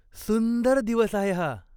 सुंदर दिवस आहे हा.